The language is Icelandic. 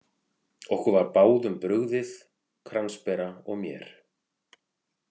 Okkur var báðum brugðið, kransbera og mér.